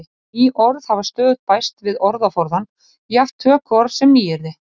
Ný orð hafa stöðugt bæst við orðaforðann, jafnt tökuorð sem nýyrði.